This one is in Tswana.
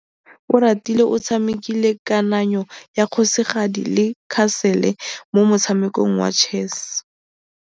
Oratile o tshamekile kananyô ya kgosigadi le khasêlê mo motshamekong wa chess.